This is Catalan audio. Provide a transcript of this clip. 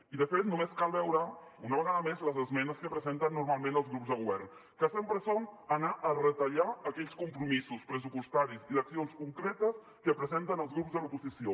i de fet només cal veure una vegada més les esmenes que presenten normalment els grups de govern que sempre són anar a retallar aquells compromisos pressupostaris i d’accions concretes que presenten els grups de l’oposició